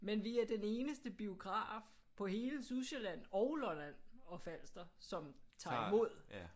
Men vi er den eneste biograf på hele Sydsjælland og Lolland og Falster som tager imod